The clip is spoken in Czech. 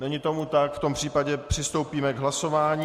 Není tomu tak, v tom případě přistoupíme k hlasování.